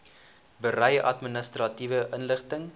berei administratiewe inligting